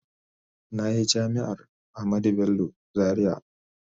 Na yi Jami’ar Ahmadu Bello Zariya.